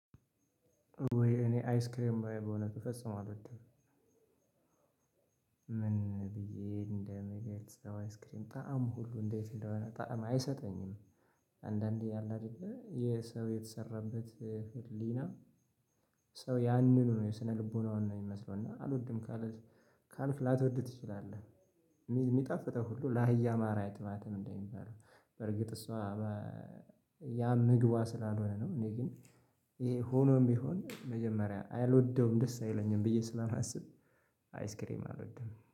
እኔ አይስክሬም በእውነቱ ፈጽሞ አልወድም ምን ብዬ እንደምገልጽ አይስክሬም ጣዕም ሁሉ እንዴት እንደሆነ ጣዕም አይሰጠኝም። አንዳንዴ አላ አይደለ የሰው የተሰራበት ህሊና። ሰው ያንኑ ነው የስነልቦናውን ነው የሚመስለው እና አልወድም። ካልክ ላትወድ ትችላለህ። የሚጣፍጠው ሁሉ ለአህያ ማራ አይጥማትም እንደሚባለው በርግጥ እሷ ያ ምግቧ ስላልሆነ ነው። እኔ ግን ይሄ ሆኖም ቢሆን መጀመሪያ አልወደውም ደስ አይለኝም ብዬ ስለማስብ። አይስክሬም አልወድም